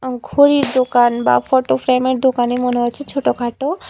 আ ঘড়ির দোকান বা ফটো ফ্রেমের দোকানই মনে হচ্ছে ছোটখাটো।